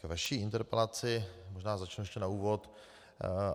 K vaší interpelaci - možná začnu ještě na úvod.